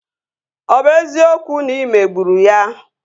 Ọ bụ eziokwu na ị megburu ya?